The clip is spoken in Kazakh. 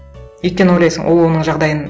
өйткені ойлайсың ол оның жағдайын